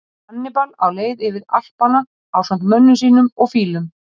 Hannibal á leið yfir Alpana ásamt mönnum sínum og fílum.